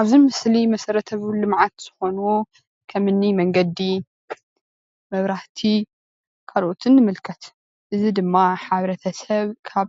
ኣብዚ ምስሊ መሰረተ ልምዓት ዝኮኑ ከምኒ መገዲ፣ መብራህቲ ካልኦትን ንምልከት፣ እዚ ድማ ሕ/ሰብ ካብ